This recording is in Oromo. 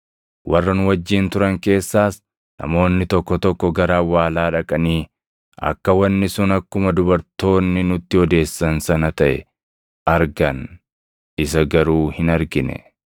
Warra nu wajjin turan keessaas namoonni tokko tokko gara awwaalaa dhaqanii akka wanni sun akkuma dubartoonni nutti odeessan sana taʼe argan; isa garuu hin argine.”